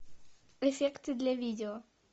эффекты для видео